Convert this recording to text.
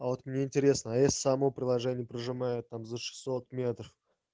а вот мне интересно а если само приложение прижимает там за шестьсот метров